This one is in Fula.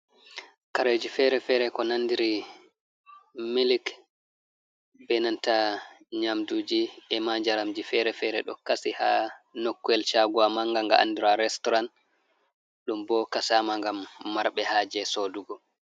Kareji fere fere ko nandiri milik, benanta nyamduji e ma njaramji fere fere, ɗo kasi ha nokkuyel shagowa manga andiraɗum restoran. ɗum bo kasama ngam marɓe haje sodugo.